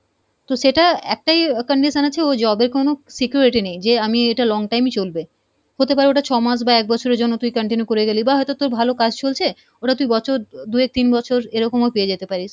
তো সেটা একটাই আহ condition হচ্ছে ও job এ কোনো security নেই যে আমি এটা longtime ই চলবে, হতে পারে ওটা ছ মাস বা এক বছরের জন্য তুই continue করে গেলি বা হয়তো তোর ভালো কাজ চলছে ওটা তুই বছর দুয়েক, তিন বছর এরকমও পেয়ে যেতে পারিস,